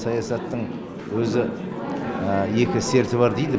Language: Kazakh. саясаттың өзі екі серті бар дейді